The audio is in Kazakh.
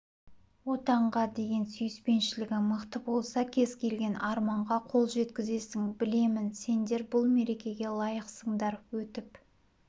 отанға деген сүйіспеншілігің мықты болса кез-келген арманға қол жеткізесің білемін сендер бұл мерекеге лайықсыңдар өтіп